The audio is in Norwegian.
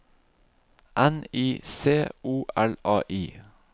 N I C O L A I